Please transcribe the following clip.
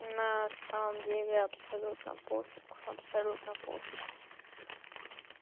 на самом деле абсолютно пофиг абсолютно пофиг